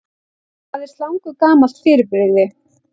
Hvað er slangur gamalt fyrirbrigði?